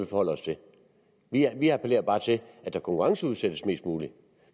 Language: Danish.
forholder os til her vi appellerer bare til at der konkurrenceudsættes mest muligt